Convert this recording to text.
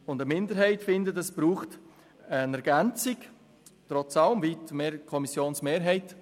Eine Minderheit findet, es brauche eine Ergänzung, trotz allem, wie die Kommissionsmehrheit.